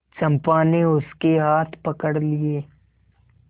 चंपा ने उसके हाथ पकड़ लिए